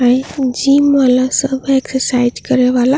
हई जिम वाला सब एक्सरसाइज करे वाला --